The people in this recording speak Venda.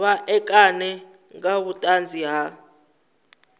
vha ṋekane nga vhuṱanzi ha